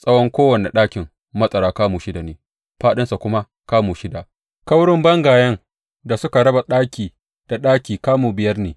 Tsawon kowane ɗakin matsara kamu shida ne, fāɗinsa kuma kamu shida, kaurin bangayen da suka raba ɗaki da ɗaki kamu biyar ne.